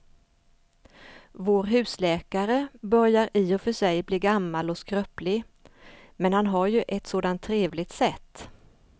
Vår husläkare börjar i och för sig bli gammal och skröplig, men han har ju ett sådant trevligt sätt!